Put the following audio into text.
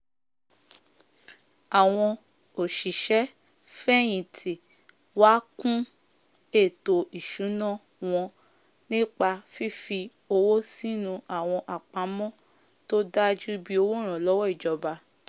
àwọn òsìsẹ́ fẹ̀hìntì wá kún ètò ìsúná wọn nípa fifi owó sínú àwọn àpamọ́ tó dájú bíi òwó ìrànlọ́wọ́ ìjòba